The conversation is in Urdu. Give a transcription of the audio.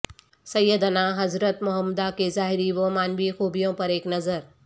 سیدناحضرت محمدا کے ظاہری و معنوی خوبیوں پر ایک نظر